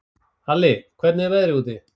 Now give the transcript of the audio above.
Alli, hvernig er veðrið úti?